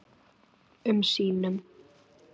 um sínum.